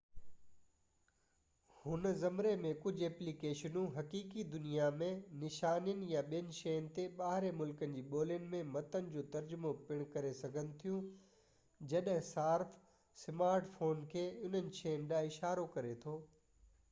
هن زمري ۾ ڪجهہ اپلي ڪيشنون حقيقي دنيا م نشانين يا ٻين شين تي ٻاهرين ملڪن جي ٻولين ۾ متن جو ترجمو پڻ ڪري سگهن ٿيون جڏهن صارف سمارٽ فون کي انهن شين ڏانهن اشارو ڪري ٿو